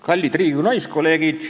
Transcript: Kallid Riigikogu naiskolleegid!